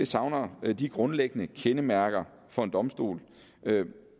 savner de grundlæggende kendemærker for en domstol